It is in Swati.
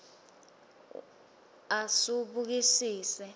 asubukisise